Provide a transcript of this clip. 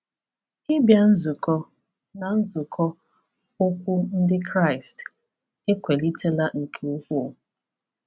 Ịbịa nzukọ na nzukọ ukwu Ndị Kraịst ekwalitela nke ukwuu.